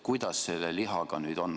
Kuidas selle lihaga nüüd on?